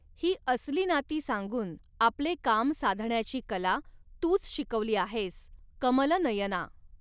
ही असली नाती सांगून आपले काम साधण्याची कला तूच शिकविली आहेस, कमलनयना